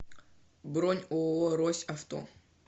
бронь ооо рось авто